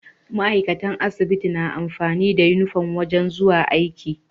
Ma'aikatan asibiti na amfani da inufom wajan zuwa aiki